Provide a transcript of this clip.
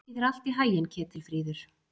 Gangi þér allt í haginn, Ketilfríður.